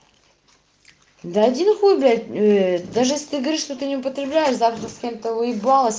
да один хуй блять даже если ты говоришь что ты не употребляешь завтра с кем-то уебалась